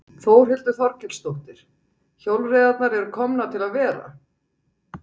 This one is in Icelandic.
Þórhildur Þorkelsdóttir: Hjólreiðarnar eru komnar til að vera?